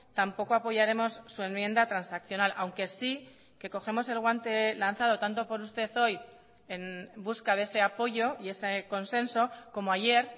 tampoco apoyaremos su enmienda transaccional aunque sí que cogemos el guante lanzado tanto por usted hoy en busca de ese apoyo y ese consenso como ayer